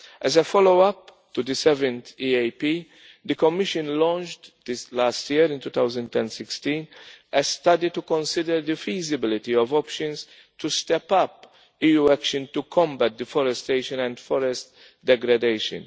As a follow up to the 7th EAP, the Commission launched this last year in 2016 a study to consider the feasibility of options to step up EU action to combat deforestation and forest degradation.